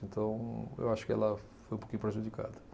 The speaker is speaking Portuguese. Então, eu acho que ela foi um pouquinho prejudicada.